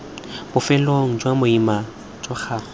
bofelong jwa boimana jwa gago